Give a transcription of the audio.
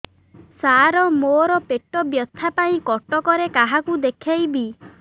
ସାର ମୋ ର ପେଟ ବ୍ୟଥା ପାଇଁ କଟକରେ କାହାକୁ ଦେଖେଇବି